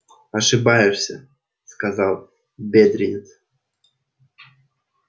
ошибаешься сказал бедренец